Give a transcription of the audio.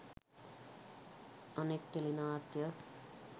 අනෙක් ටෙලි නාට්‍යය